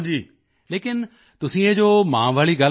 ਲੇਕਿਨ ਤੁਸੀਂ ਇਹ ਜੋ ਮਾਂ ਵਾਲੀ ਗੱਲ ਦੱਸੀ ਨਾ